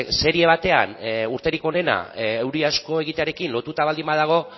serie batean urterik onena euri asko egitearekin lotuta baldin badago